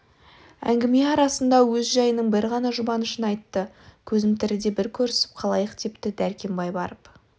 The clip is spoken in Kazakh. әңгіме арасында өз жайының бір ғана жұбанышын айтты көзім тіріде бір көрісіп қалайық депті дәр-кембай барып